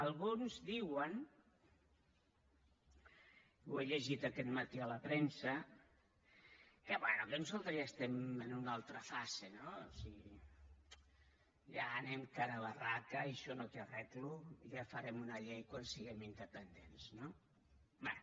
alguns diuen ho he llegit aquest matí a la premsa que bé que nosaltres ja estem en una altra fase no o sigui ja anem de cara a barraca i això no té arreglo ja farem una llei quan siguem independents no bé